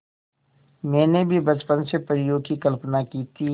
मैंने भी बचपन से परियों की कल्पना की थी